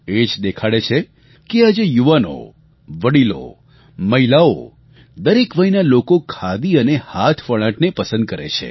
એ જ દેખાડે છે કે આજે યુવાનો વડીલો મહિલાઓ દરેક વયના લોકો ખાદી અને હાથવણાટને પસંદ કરે છે